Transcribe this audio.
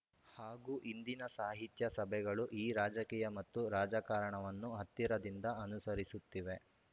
ಹಾಗೂ ಇಂದಿನ ಸಾಹಿತ್ಯ ಸಭೆಗಳು ಈ ರಾಜಕೀಯ ಮತ್ತು ರಾಜಕಾರಣವನ್ನು ಹತ್ತಿರದಿಂದ ಅನುಸರಿಸುತ್ತಿವೆ